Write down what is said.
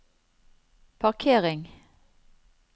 parkering